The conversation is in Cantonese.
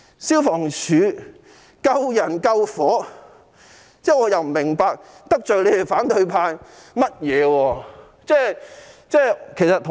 消防處救人救火，我不明白得罪了反對派甚麼。